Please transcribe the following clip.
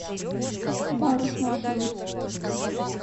парус маршрут